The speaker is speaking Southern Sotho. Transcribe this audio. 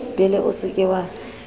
bele o se ke wa